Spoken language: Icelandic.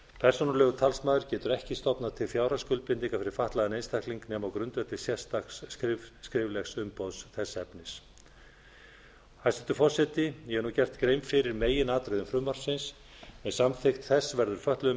persónulegur talsmaður getur ekki stofnað til fjárhagsskuldbindinga fyrir fatlaðan einstakling nema á grundvelli sérstaks skriflegs umboðs þess efnis hæstvirtur forseti ég hef nú gert grein fyrir meginatriðum frumvarpsins með samþykkt þess verður fötluðum